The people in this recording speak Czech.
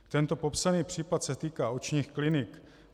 Tento popsaný případ se týká očních klinik.